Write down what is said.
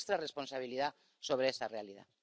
De nuestra responsabilidad sobre esa realidad.